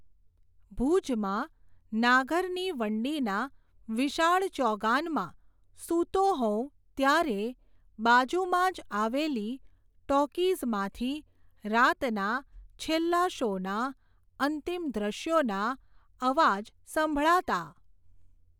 ભુજમાં, નાગરની વંડીના, વિશાળ ચોગાનમાં, સૂતો હોઉં, ત્યારે, બાજુમાં જ આવેલી, ટૉકીઝમાંથી, રાતના, છેલ્લા શૉનાં, અંતિમ દશ્યોના, અવાજ સંભળાતા.